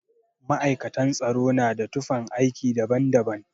Ma'aikatan tsaro na da tufan aiki daban daban